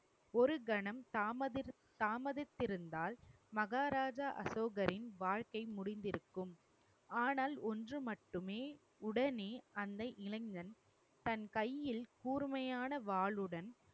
ஒரு கணம் தாமதித்~ தாமதித்திருந்தால் மகாராஜா அசோகரின் வாழ்க்கை முடிந்திருக்கும். ஆனால் ஒன்று மட்டுமே உடனே அந்த இளைஞன் தன் கையில் கூர்மையான வாளுடன்